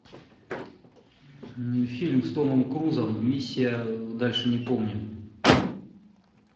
фильм с томом крузом миссия дальше не помню